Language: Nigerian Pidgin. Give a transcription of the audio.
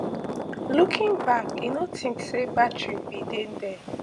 looking back i no think say batteries bin dey dia